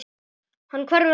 Hann hverfur aldrei.